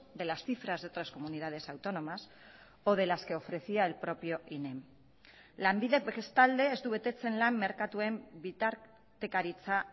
de las cifras de otras comunidades autónomas o de las que ofrecía el propio inem lanbidek bestalde ez du betetzen lan merkatuen bitartekaritza